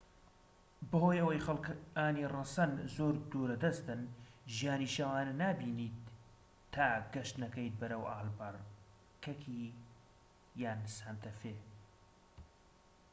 بەهۆی ئەوەی خەلکانی ڕەسەن زۆر دوورە دەستن ژیانی شەوانە نابینیت تا گەشت نەکەیت بەرەو ئالبەکەرکی یان سانتە فێ